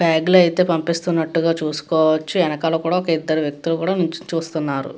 బాగ్ లో అయితే పంపిస్తున్నట్టుగ చూసుకోవచ్చు. వెనకాల కూడా ఒక ఇద్దరు వ్యక్తులు కూడా నిల్చొని చూస్తున్నారు.